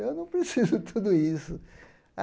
Eu não preciso tudo isso.